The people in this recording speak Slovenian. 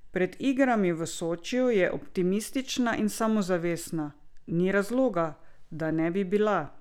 Pred igrami v Sočiju je optimistična in samozavestna: "Ni razloga, da ne bi bila.